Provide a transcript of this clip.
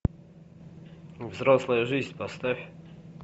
взрослая жизнь поставь